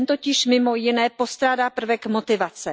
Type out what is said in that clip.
Ten totiž mimo jiné postrádá prvek motivace.